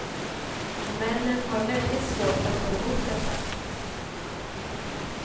Männen har väldigt svårt att gå emot detta.